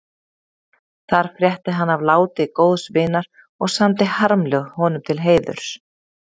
Þar frétti hann af láti góðs vinar og samdi harmljóð honum til heiðurs.